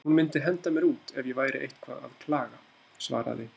Hún myndi henda mér út ef ég væri eitthvað að klaga, svaraði